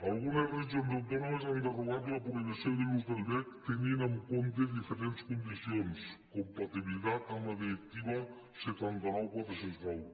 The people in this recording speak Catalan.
algunes regions autònomes han derogat la prohibició de l’ús del vesc tenint en compte diferents condicions compatibilitat amb la directiva setanta nou quatre cents i nou